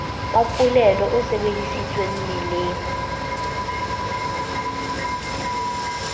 wa polelo o sebedisitsweng meleng